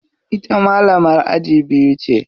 Ita malamar aji biyu ce.